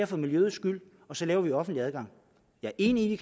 for miljøets skyld og så laver vi offentlig adgang jeg er enig i